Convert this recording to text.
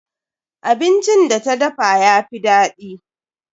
Abincin da ta dafa yafi daɗi.